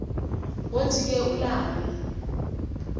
wothi ke ulale